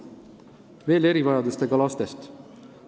Veel erivajadustega lastest.